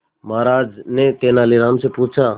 महाराज ने तेनालीराम से पूछा